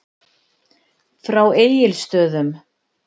Frá Egilsstöðum.